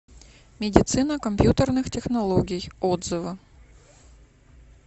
медицина компьютерных технологий отзывы